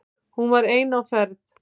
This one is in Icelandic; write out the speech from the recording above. Hún var ein á ferð.